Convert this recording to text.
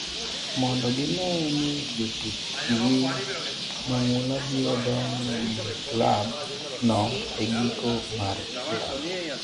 mondo gine ni jotukgi mangula biro dong' e klab no e giko mar ndalo